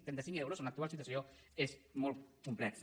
trenta cinc euros en l’actual situació és molt complex